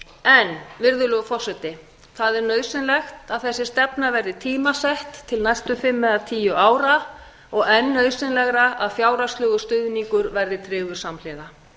en virðulegur forseti það er nauðsynlegt að þessi stefna verði tímasett til næstu fimm eða tíu ára og enn nauðsynlegra að fjárhagslegur stuðningur verði tryggður samhliða